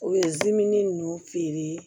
U ye dimin ninnu feere